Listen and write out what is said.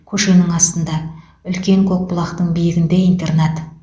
көшенің астында үлкен көкбұлақтың биігінде интернат